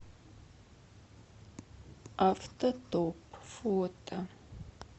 автотоп фото